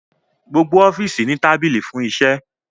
Gbogbo ọfiisi ni tabili fun iṣẹ